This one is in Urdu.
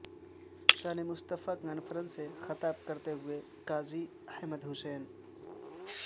شان مصطفی کانفرنس سے خطاب کرتے ہوئے قاضی حسین احمد